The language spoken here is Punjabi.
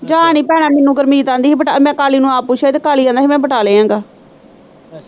ਜਾ ਨੀ ਭੈਣਾਂ ਮੈਨੂੰ ਗੁਰਮੀਤ ਆਂਦੀ ਹੀ, ਮੈਂ ਬਟਾਲੇ, ਮੈਂ ਕਾਲੀ ਨੂੰ ਆਪ ਨੂੰ ਆਪ ਪੁੱਛਿਆ ਹੀ ਤੇ ਕਾਲੀ ਕਹਿੰਦਾ ਹੀ ਮੈਂ ਬਟਾਲੇ ਆ ਗਾ।